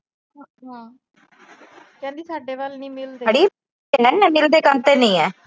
ਕਹਿੰਦੀ ਸਾਡੇ ਵੱਲ ਨੀ ਮਿਲਦੇ।